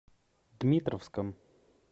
дмитровском